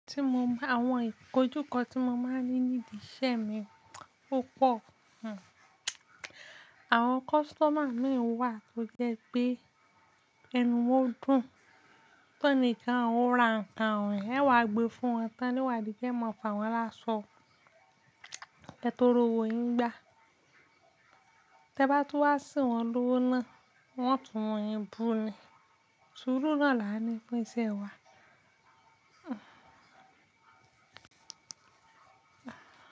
Ti mo ba, àwọn ìkójúkọ tí mo máa ń rii nídìí iṣẹ́ mi, ó pọ̀. Àwọn customer mi wa tó jẹ́ pé ẹnu wọ́n dùn, tọ́nì kan, ó ra nǹkan e wàá gbé fún wọn tan, ni o wá di pe e mo fáwọn lásọ, ke toro owò yín gbá. Tẹ bá tún wá sín wọn lówó náà, wọ́n tún mu yín bú ni. Surú náà là á ni fun iṣẹ́ wa.